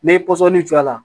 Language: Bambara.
N'i ye pɔsɔni jɔ a la